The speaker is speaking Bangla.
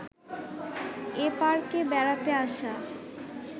এ পার্কে বেড়াতে আসা